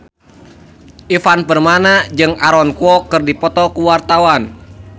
Ivan Permana jeung Aaron Kwok keur dipoto ku wartawan